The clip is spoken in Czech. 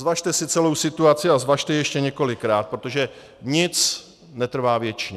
Zvažte si celou situaci a zvažte ji ještě několikrát, protože nic netrvá věčně.